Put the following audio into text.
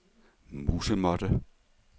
musemåtte